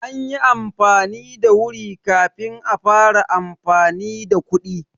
An yi amfani da wuri kafin a fara amfani da kuɗi.